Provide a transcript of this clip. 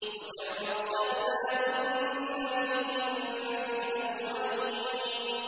وَكَمْ أَرْسَلْنَا مِن نَّبِيٍّ فِي الْأَوَّلِينَ